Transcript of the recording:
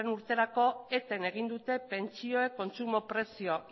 urterako eten egin dute pentsioek kontsumo prezio